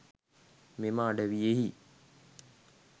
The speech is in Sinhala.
මෙම අඩවියෙහි